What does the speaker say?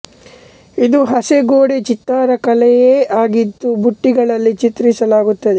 ಇದು ಹಸೆ ಗೋಡೆ ಚಿತ್ತಾರ ಕಲೆಯೇ ಆಗಿದ್ದು ಬುಟ್ಟಿಗಳಲ್ಲಿ ಚಿತ್ರ್ರಿಸಲಾಗುತ್ತದೆ